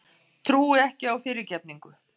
Trúi ekki á fyrirgefningu.